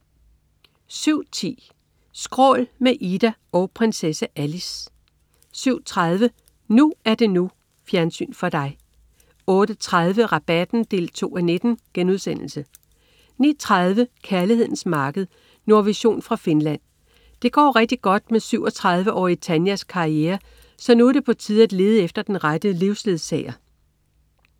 07.10 Skrål. Med Ida og prinsesse Alice 07.30 NU er det NU. Fjernsyn for dig 08.30 Rabatten 2:19* 09.30 Kærlighedens marked. Nordvision fra Finland. Det går rigtig godt med 37-årige Tanjas karriere, så nu er det på tide at lede efter den rette livsledsager!